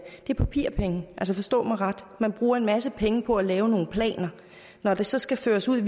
er papirpenge forstå mig ret man bruger en masse penge på at lave nogle planer når de så skal føres ud